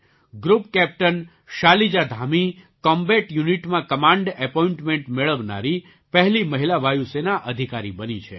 group captain Shalija Dhami combat યૂનિટમાં command appointment મેળવનારી પહેલી મહિલા વાયુ સેના અધિકારી બની છે